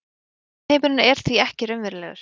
efnisheimurinn er því ekki raunverulegur